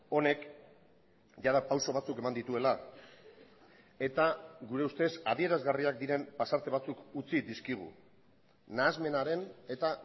honek jada pauso batzuk eman dituela eta gure ustez adierazgarriak diren pasarte batzuk utzi dizkigu nahasmenaren eta